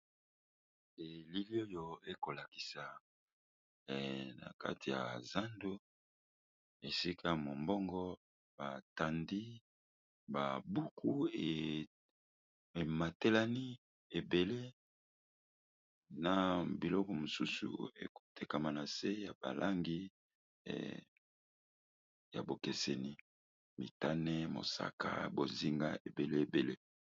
Elili oyo ekolakisa na kati ya zando esika mombongo batandi babuku ematelani ebele na biloko mosusu ekotekama na se ya balangi ya bokeseni mitane mosaka bozinga ebele ebele.